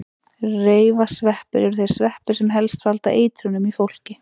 Reifasveppir eru þeir sveppir sem helst valda eitrunum í fólki.